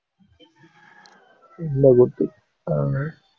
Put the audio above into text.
இல்லை கூட்டு ஆஹ்